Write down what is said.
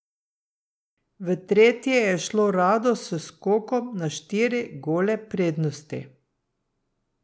V tretje je šlo rado s skokom na štiri gole prednosti.